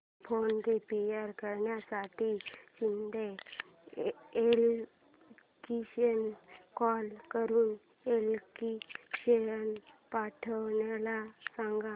fan repair करण्यासाठी शिंदे इलेक्ट्रॉनिक्सला call करून इलेक्ट्रिशियन पाठवायला सांग